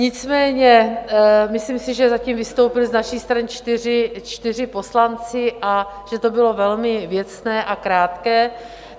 Nicméně myslím si, že zatím vystoupili z naší strany čtyři poslanci a že to bylo velmi věcné a krátké.